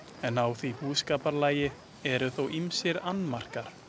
En á því búskaparlagi eru þó ýmsir annmarkar.